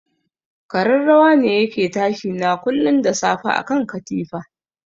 Kararrawa ne yake tashi na kullun da safe akan katifa.